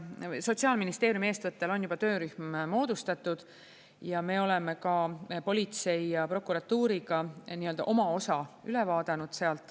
Sotsiaalministeeriumi eestvõttel on juba töörühm moodustatud ja me oleme ka politsei ja prokuratuuriga sealt nii-öelda oma osa üle vaadanud.